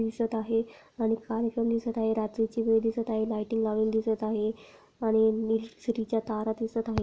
दिसत आहे आणि काळापण दिसत आहे रात्रीची वेळ दिसत आहे लायटिंग लावलेली दिसत आहे आणि निल्सरी च्या तारा दिसत आहे.